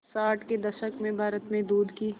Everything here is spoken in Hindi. साठ के दशक में भारत में दूध की